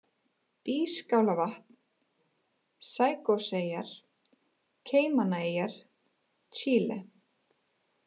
Býskálarvatn, Caicoseyjar, Caymaneyjar, Chile